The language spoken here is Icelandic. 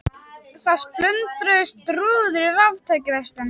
Þá splundruðust rúður í raftækjaverslun